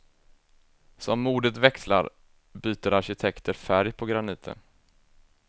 Som modet växlar byter arkitekter färg på graniten.